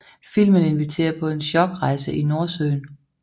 Filmen inviterer på en chockrejse i Nordsøen